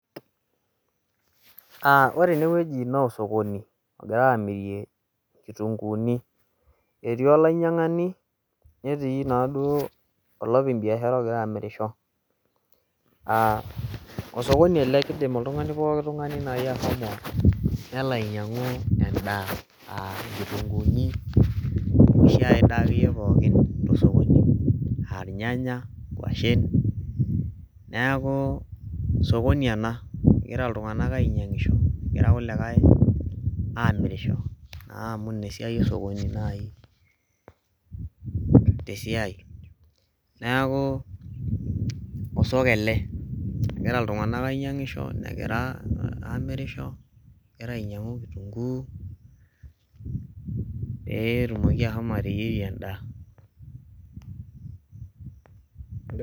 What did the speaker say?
Aaah ore enewueji naa osokoni omirieki inkitunguuni. Etii olainyiangani netii naaduo olopeny biashara ogira amirisho. Aaah osokoni ele keidim oltungani pooki naaji ashomo nelo ainyiangu endaa aa nkitunguuni ashuu aidaa akeyie pooki anaa irnyanya, nkuashen neaku sokoni ena. Egira iltunganak ainyiangisho negira kulikae aamirisho, naa amuu ina esiai osokoni naaji tesiai. Neaku osoko ele egira iltunganak aamirisho negira ainyiangisho, egira ainyiangu inkuk pee etumoki ashomo ateyierie endaa